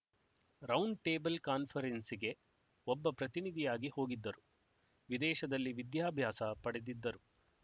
round table ಕಾನ್ಫರೆನ್ಸಿಗೆ ಒಬ್ಬ ಪ್ರತಿನಿಧಿಯಾಗಿ ಹೋಗಿದ್ದರು ವಿದೇಶದಲ್ಲಿ ವಿದ್ಯಾಭ್ಯಾಸ ಪಡೆದಿದ್ದರು